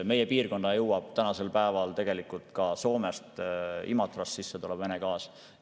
Meie piirkonda jõuab tänasel päeval ka Soomest Imatrast sisse tulev Vene gaas.